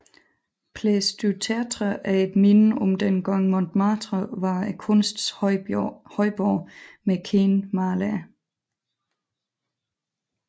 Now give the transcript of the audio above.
Place du Tertre er et minde om dengang Montmartre var kunstens højborg med kendte malere